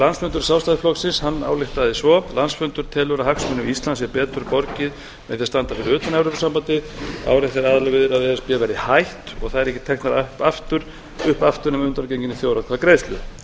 landsfundur sjálfstæðisflokksins ályktaði svo landsfundur telur að hagsmunum íslands sé betur borgið með því að standa fyrir utan evrópusambandið áréttað er að aðildarviðræðum við e s b verði hætt og þær ekki teknar upp aftur nema að undangenginni þjóðaratkvæðagreiðslu